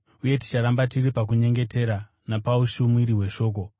uye ticharamba tiri pakunyengetera napaushumiri hweshoko.”